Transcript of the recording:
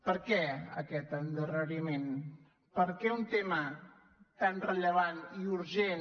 per què aquest endarreriment per què un tema tan rellevant i urgent